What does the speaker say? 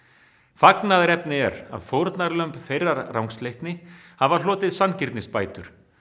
fagnaðarefni er að fórnarlömb þeirrar rangsleitni hafa hlotið sanngirnisbætur